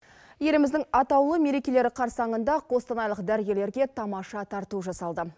еліміздің атаулы мерекелері қарсаңында қостанайлық дәрігерлерге тамаша тарту жасалды